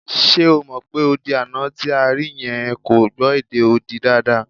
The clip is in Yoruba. Ṣe o mọ̀ pé odi àná tí a rí yẹn kò gbọ́ èdè odi dáadáa?